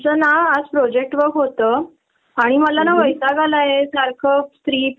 बिनदास्त कर.कुठलाही दडपण ठेऊ नको त्यांनी नंतर खूप जास्त प्रोब्लेम क्रीएट होतात.